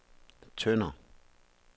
Tønder